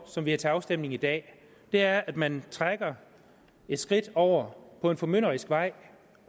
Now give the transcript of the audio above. som vi har til afstemning i dag er at man trækker et skridt over mod en formynderisk vej